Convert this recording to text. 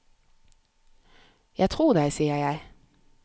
Jeg tror deg, sier jeg.